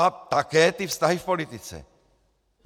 A také ty vztahy v politice.